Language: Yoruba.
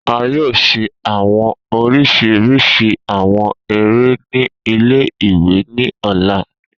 A yoo ṣe awọn oriṣiriṣi awọn ere ni ile-iwe ni ọla.